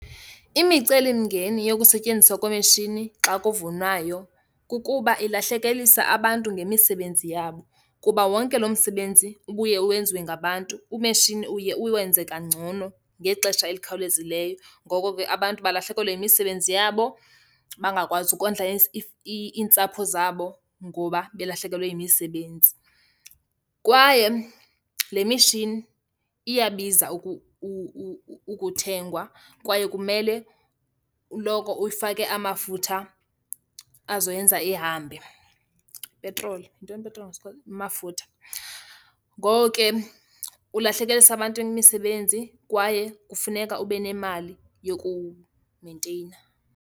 Imicelimngeni yokusetyenziswa kwemishini xa kuvunwayo kukuba ilahlekelisa abantu ngemisebenzi yabo kuba wonke loo msebenzi ubuye wenziwe ngabantu, umeshini uye uwenzeka kangcono ngexesha ezikhawulezileyo. Ngoko ke abantu balahlekelwe yimisebenzi yabo, bangakwazi ukondla iintsapho zabo ngoba belahlekelwe yimisebenzi. Kwaye le mishini iyabiza ukuthengwa kwaye kumele uloko uyifake amafutha azoyenza ihambe, ipetroli. Yintoni ipetroli ngesiXhosa? Amafutha. Ngoko ke ulahlekelisa abantu imisebenzi kwaye kufuneka ube nemali yokuwumenteyina.